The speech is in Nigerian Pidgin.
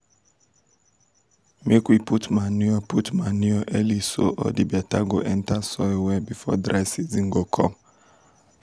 make we put manure put manure early so all d better go enter soil well before dry season go come.